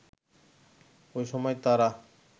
ওই সময় তারা